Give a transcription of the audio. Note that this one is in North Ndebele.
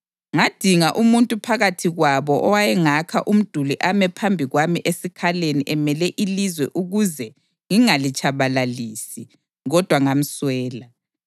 Ngadinga umuntu phakathi kwabo owayengakha umduli ame phambi kwami esikhaleni emele ilizwe ukuze ngingalitshabalalisi, kodwa ngamswela.